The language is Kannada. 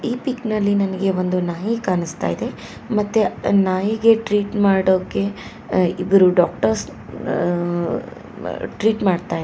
ಈ ಪಿಕ್ ನಲ್ಲಿ ನನಗೆ ಒಂದು ನಾಯಿ ಕಾಣುಸ್ತಾಯಿದೆ ಮತ್ತೆ ನಾಯಿಗೆ ಟ್ರೀಟ್ ಮಾಡೋಕೆ ಇಬ್ಬರು ಡಾಕ್ಟರ್ಸ್ ಅ- ಮ್ಮ್- ಟ್ರೀಟ್ ಮಾಡ್ತಾ ಇದ್ದಾರೆ.